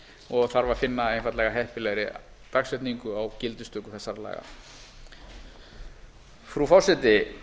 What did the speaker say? og þarf að finna einfaldlega heppilegri dagsetningu á gildistöku þessara laga frú forseti